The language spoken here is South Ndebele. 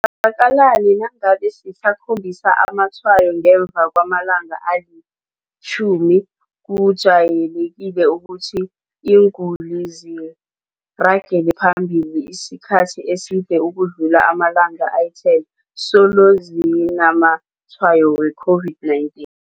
zakani nangabe ngisakhombisa amatshwayo ngemva kwamalanga ali-10? Kujayelekile ukuthi iinguli ziragele phambili isikhathi eside ukudlula amalanga ali-10 solo zinamatshwayo we-COVID-19.